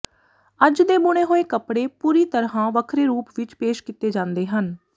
ਅੱਜ ਦੇ ਬੁਣੇ ਹੋਏ ਕੱਪੜੇ ਪੂਰੀ ਤਰ੍ਹਾਂ ਵੱਖਰੇ ਰੂਪ ਵਿਚ ਪੇਸ਼ ਕੀਤੇ ਜਾਂਦੇ ਹਨ